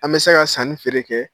An bɛ se ka san ni feere kɛ